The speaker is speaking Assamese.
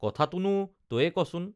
কথাটোনো তয়ে কচোন